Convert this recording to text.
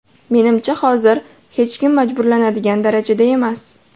Menimcha, hozir hech kim majburlanadigan darajada emas.